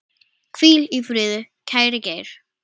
Hvíl í friði, kæri Geir.